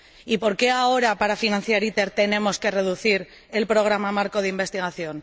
¿Y por qué ahora para financiar ITER tenemos que reducir el Programa Marco de Investigación?